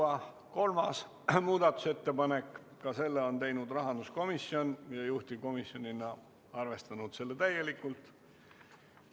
Ka kolmanda muudatusettepaneku on teinud rahanduskomisjon ja juhtivkomisjon on arvestanud seda täielikult.